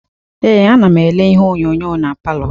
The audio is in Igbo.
Ee, anam ele ihe onyonyo na palọ.